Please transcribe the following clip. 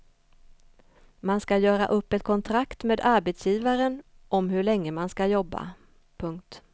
Man ska göra upp ett kontrakt med arbetsgivaren om hur länge man ska jobba. punkt